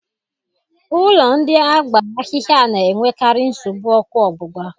Ụlọ ndị a gbara ahịhịa na-enwekarị nsogbu oku ogbugba